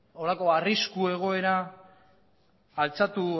halako arrisku egoera altxatu